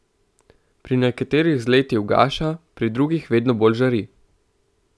Pri nekaterih z leti ugaša, pri drugih vedno bolj žari.